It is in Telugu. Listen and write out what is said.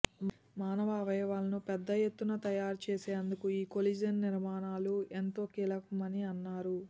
మానవ అవయవాలను పెద్ద ఎత్తున తయారు చేసేందుకు ఈ కొలేజన్ నిర్మాణాలు ఎంతో కీలకమని అన్నారు